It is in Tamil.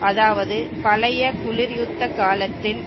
அதாவது பழைய குளிர் யுத்த காலத்தின்